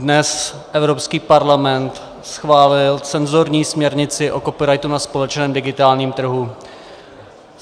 Dnes Evropský parlament schválil cenzorní směrnici o copyrightu na společném digitálním trhu.